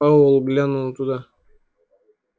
пауэлл глянул туда